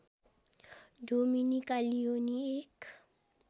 Dominica Leoni एक